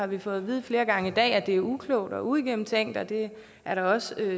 vi fået at vide flere gange i dag at det er uklogt og uigennemtænkt og det er da også